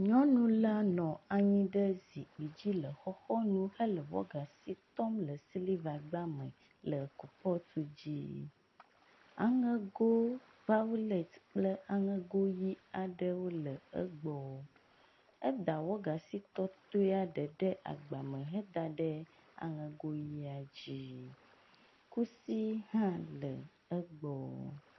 Nyɔnu la nɔ anyi ɖe zikpui dzi le xɔxɔ nu hele wagasi tɔm le gagba me le kɔpɔtu dzi. Aŋego violet kple aŋego ʋi aɖewo le egbɔ. Eda wɔgasi tɔtɔe ɖe ɖe agba me head ɖe aŋego ʋia dzi. Kusi hã le egbɔ.